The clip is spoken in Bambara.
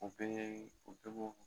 o cogo